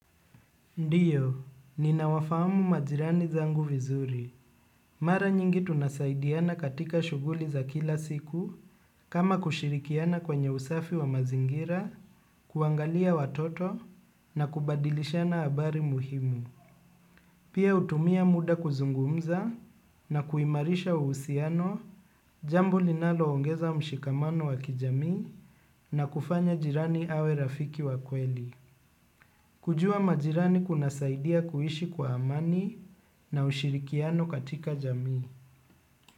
Ndio, ninawafahamu majirani zangu vizuri. Mara nyingi tunasaidiana katika shughuli za kila siku kama kushirikiana kwenye usafi wa mazingira, kuangalia watoto na kubadilishana habari muhimu. Pia hutumia muda kuzungumza na kuimarisha uhusiano, jambo linaloongeza mshikamano wa kijamii na kufanya jirani awe rafiki wa kweli. Kujua majirani kunasaidia kuishi kwa amani na ushirikiano katika jamii.